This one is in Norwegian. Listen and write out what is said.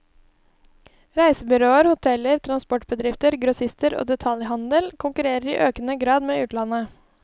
Reisebyråer, hoteller, transportbedrifter, grossister og detaljhandel konkurrerer i økende grad med utlandet.